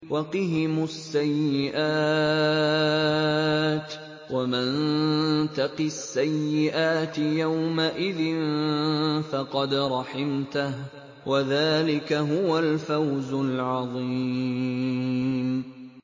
وَقِهِمُ السَّيِّئَاتِ ۚ وَمَن تَقِ السَّيِّئَاتِ يَوْمَئِذٍ فَقَدْ رَحِمْتَهُ ۚ وَذَٰلِكَ هُوَ الْفَوْزُ الْعَظِيمُ